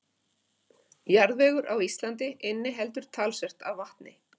Jarðvegur á Íslandi inniheldur talsvert af vatni.